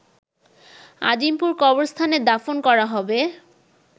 আজিমপুর কবরস্থানে দাফন করা হবে